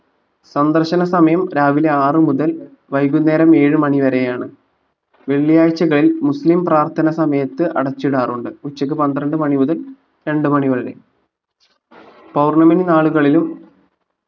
സന്ദർശന സമയം രാവിലെ ആറു മുതൽ വൈകുന്നേരം ഏഴ് മണി വരെയാണ് വെള്ളിയാഴ്ചകൾ മുസ്ലിം പ്രാർത്ഥന സമയത്ത് അടച്ചിടാറുണ്ട് ഉച്ചക്ക് പന്ത്രണ്ട് മണി മുതൽ രണ്ടു മണിവരെ പൗർണ്ണമി നാളുകളിലും